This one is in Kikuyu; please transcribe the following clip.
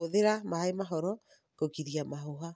Hũthĩra maĩ mahoro kũgiria mahũha.